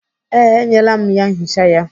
Ee, enyela m ya nchicha ya.